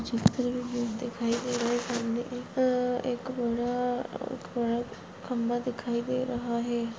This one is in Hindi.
एक एक बडा ख्म्बा दिखाई दे रहा है।